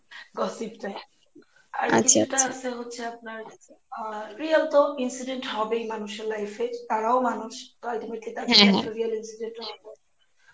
gossip টাই আর কিছুটা হচ্ছে আপনার real তো incident হবেই মানুষের life এ তারাও মানুষ Ultimately